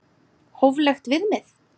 Hóflegt viðmið?